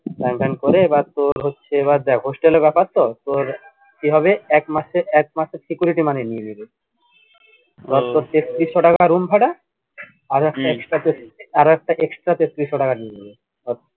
sign টাইন করে এবার তোর হচ্ছে এবার দেখ hostel এর ব্যাপার তো তোর কি হবে একমাসের security money নিয়ে নিবে ধরে তোর তেত্রিশশো টাকা room ভাড়া আরো একটা extra আরো একটা extra তেত্রিশশো টাকা নিয়ে নিবে